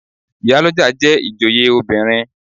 Ìyálọ́jà jẹ́ ìjòyè obìnrin.